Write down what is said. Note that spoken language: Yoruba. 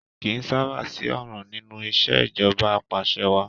Kì í sábà sí ọ̀ràn nínú ìṣẹ̀jọba apàṣẹwàá.